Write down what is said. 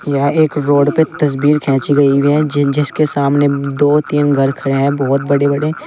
यह एक रोड पे तस्वीर खींची गई हुई है जिन जिस के सामने दो तीन घर खड़े हैं बहुत बड़े बड़े।